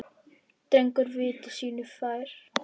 Drengur var viti sínu fjær.